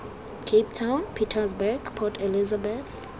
cape town pietersburg port elizabeth